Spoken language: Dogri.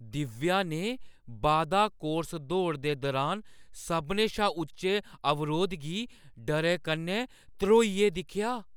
दिव्या ने बाधा कोर्स दौड़ दे दुरान सभनें शा उच्चे अवरोध गी डरै कन्नै ध्रोइयै दिक्खेआ।